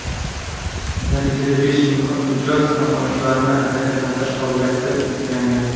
Natijada besh mijozda ham oyoqlarni harakatlantirish qobiliyati tiklangan.